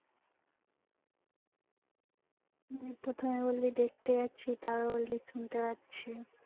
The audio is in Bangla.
উম প্রথমে বললি দেখতে যাচ্ছি তারপর বললি শুনতে পাচ্ছি